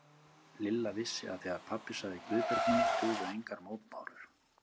Lilla vissi að þegar pabbi sagði Guðbjörg mín dugðu engar mótbárur.